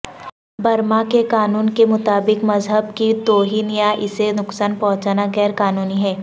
Burma کے قانون کے مطابق مذہب کی توہین یا اسے نقصان پہنچانا غیر قانونی ہے